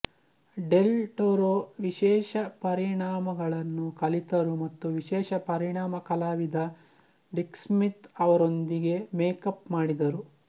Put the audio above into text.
del Toro ವಿಶೇಷ ಪರಿಣಾಮಗಳನ್ನು ಕಲಿತರು ಮತ್ತು ವಿಶೇಷ ಪರಿಣಾಮ ಕಲಾವಿದ ಡಿಕ್ ಸ್ಮಿತ್ ಅವರೊಂದಿಗೆ ಮೇಕಪ್ ಮಾಡಿದರು